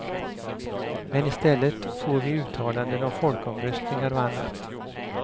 Men i stället får vi uttalanden om folkomröstningar och annat.